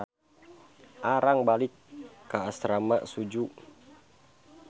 Arang balik ka asrama Suju.